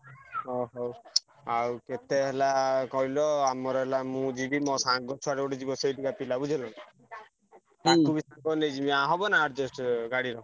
ଅ ହଉ ଆଉ କେତେ ହେଲା କହିଲ ଆମର ହେଲା ମୁଁ ଯିବି ମୋ ସାଙ୍ଗ ଛୁଆଟେ ଗୋଟେ ଯିବ ସେଇଠିକା ପିଲା ବୁଝିହେଲାନା। ତାଙ୍କୁ ବି ସାଙ୍ଗରେ ନେଇଯିବି ହବନା adjust ଗାଡିର?